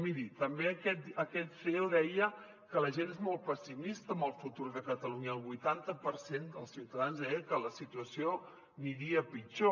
miri també aquest ceo deia que la gent és molt pessimista amb el futur de catalunya el vuitanta per cent dels ciutadans deien que la situació aniria a pitjor